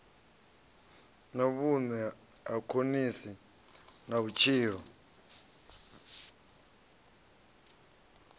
vhune ha konisa na vhutshilo